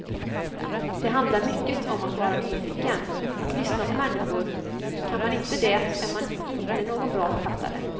Det handlar mycket om att vara nyfiken, att lyssna på människor, kan man inte det är man inte någon bra författare.